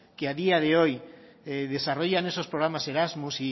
que a día de hoy que desarrollan esos programas erasmus